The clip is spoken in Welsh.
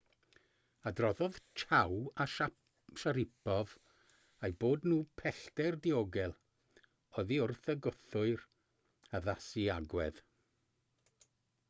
adroddodd chiao a sharipov eu bod nhw pellter diogel oddi wrth y gwthwyr addasu agwedd